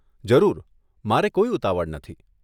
જરૂર. મારે કોઈ ઉતાવળ નથી.